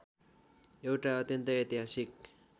एउटा अत्यन्तै ऐतिहासिक